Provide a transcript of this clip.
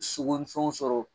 Sogo ni fɛnw sɔrɔ